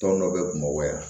Tɔn dɔ bɛ bamakɔ yan